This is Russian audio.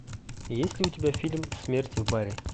есть ли у тебя фильм смерть в баре